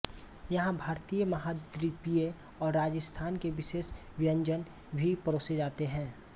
यहाँ भारतीय महाद्वीपीय और राजस्थान के विशेष व्यंजन भी परोसे जाते हैं